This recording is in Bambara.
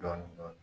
Dɔɔnin dɔɔnin